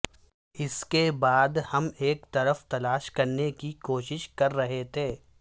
اس کے بعد ہم ایک طرف تلاش کرنے کی کوشش کر رہے تھے